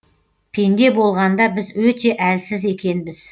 пенде болғанда біз өте әлсіз екенбіз